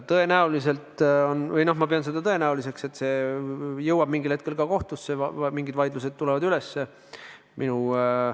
Tõenäoliselt – ma pean seda tõenäoliseks – see jõuab mingil hetkel kohtusse, mingid vaidlused tulevad üles.